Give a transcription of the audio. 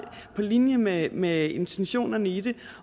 på linje med med intentionerne i det